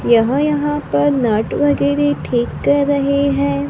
यहां यहां पर नट वगैरह ठीक कर रहे हैं।